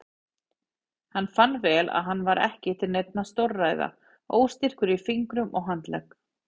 Hann fann vel að hann var ekki til neinna stórræða, óstyrkur í fingrum og handlegg.